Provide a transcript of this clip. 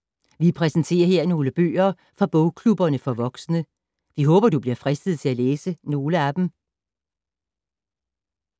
Vi præsenterer her nogle bøger fra bogklubberne for voksne. Vi håber, at du bliver fristet til at læse nogle af dem.